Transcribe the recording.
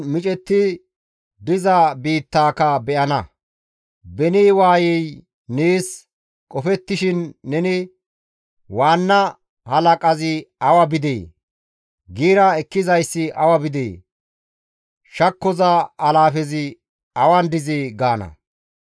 Beni waayey nees qofettishin neni, «Waanna halaqazi awa bidee? Giira ekkizayssi awa bidee? Shakkoza alaafezi awan dizee» gaana.